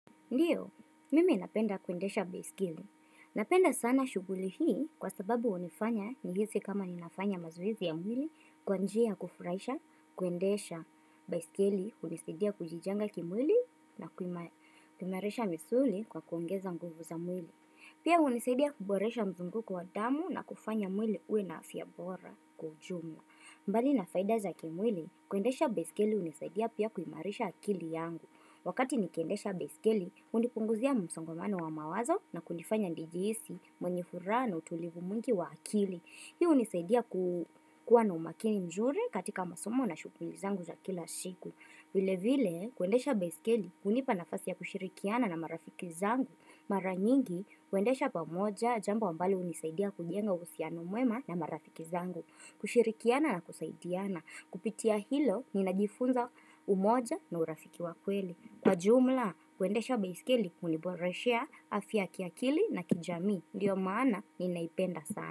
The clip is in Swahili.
Ndiyo, mimi napenda kuendesha baiskeli. Napenda sana shughuli hii kwa sababu hunifanya nihisi kama ninafanya mazoezi ya mwili kwa njia ya kufurahisha, kuendesha baiskeli hunisidia kujijenga kimwili na kuimarisha misuli kwa kuongeza nguvu za mwili. Pia hunisidia kuboresha mzunguko wa damu na kufanya mwili uwe na afya bora kwa ujumla. Mbali na faida za kimwili, kuendesha baiskeli hunisidia pia kuimarisha akili yangu. Wakati nikiendesha baiskeli, hunipunguzia msongamano wa mawazo na kunifanya nijihisi mwenye furaha na utulivu mwingi wa akili. Hiu hunisaidia kukuwa na umakini nzuri katika masomo na shughuli zangu za kila siku. Vile vile, kuendesha baiskeli, hunipa nafasi ya kushirikiana na marafiki zangu. Mara nyingi, huendesha pamoja, jamba ambalo hunisaidia kujenga uhusiano mwema na marafiki zangu. Kushirikiana na kusaidiana. Kupitia hilo ninajifunza umoja na urafiki wa kweli. Kwa jumla, kuendesha baiskeli huniboreshea afya ya kiakili na kijamii. Ndiyo maana ninaipenda sana.